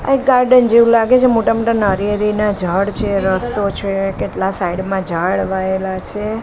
આ એક ગાર્ડન જેવુ લાગે છે મોટા મોટા નારિયેળીનાં ઞાડ છે રસ્તો છે કેટલા સાઈડ માં ઝાડ વાયેલાં છે.